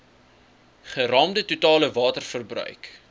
geraamde totale waterverbruik